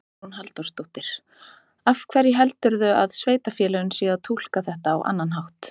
Hugrún Halldórsdóttir: Af hverju heldurðu að sveitarfélögin séu að túlka þetta á annan hátt?